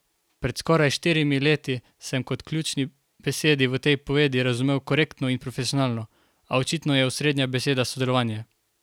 Pred skoraj štirimi leti sem kot ključni besedi v tej povedi razumel korektno in profesionalno, a očitno je osrednja beseda sodelovanje.